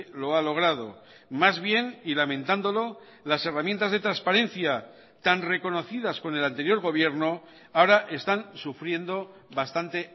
lo ha logrado más bien y lamentándolo las herramientas de transparencia tan reconocidas con el anterior gobierno ahora están sufriendo bastante